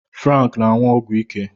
Frank na-aṅụ ọgwụ ike